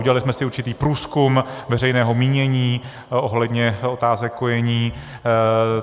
Udělali jsme si určitý průzkum veřejného mínění ohledně otázek kojení.